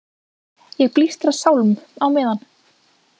Ég blístra sálm á meðan.